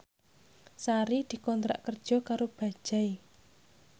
Sari dikontrak kerja karo Bajaj